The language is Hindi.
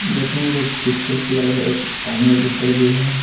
देखे हैं बहुत खूबसूरत लग रहे एक पानी बोतल भी है।